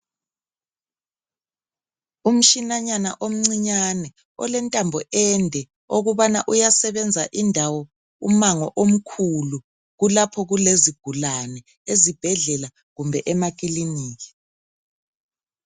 Umshinanyana omcinyane olentambo ende okubana uyasebenza indawo umango omkhulu kulapho kulezigulane ezibhedlela kumbe emakiliniki.